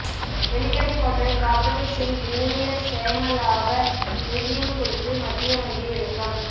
Welikada hotel properties இன் ஊழியர் சேமலாப நிதியம் குறித்து மத்திய வங்கி விளக்கம்